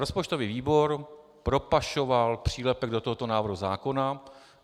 Rozpočtový výbor propašoval přílepek do tohoto návrhu zákona.